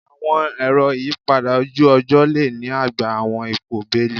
Awọn ero iyipada oju-ọjọ le ni agba awọn ipo beeli